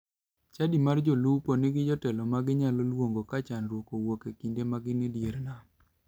Chadi mar jolupo nigi jotelo ma ginyalo luongo ka chandruok owuok e kinde ma gin e dier nam.